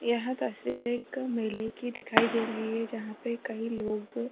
यह तस्वीर एक मेले की दिखाई दे रही है जहां पे कई लोग --